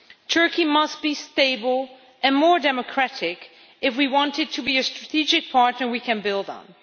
Turkey must be stable and more democratic if we want it to be a strategic partner we can build on.